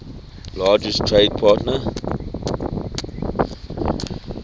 largest trade partner